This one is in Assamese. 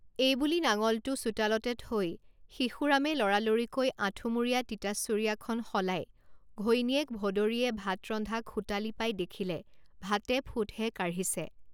এইবুলি নাঙলটো চোতালতে থৈ শিশুৰামে লৰা লৰিকৈ আঁঠুমুৰীয়া তিতা চুৰিয়াখন সলাই ঘৈণীয়েক ভদৰীয়ে ভাত ৰন্ধা খোটালী পাই দেখিলে, ভাতে ফুটহে কাঢ়িছে!